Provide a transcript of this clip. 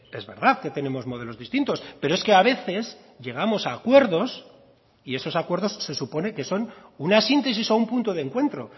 es verdad que tenemos modelos distintos pero es que a veces llegamos a acuerdos y esos acuerdos se supone que son una síntesis o un punto de encuentro